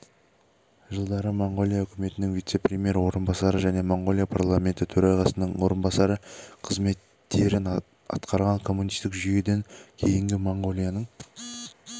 жылдары моңғолия үкіметінің вице-премьері орынбасары және моңғолия парламенті төрағасының орынбасары қызметтерін атқарған коммунистік жүйеден кейінгі моңғолияның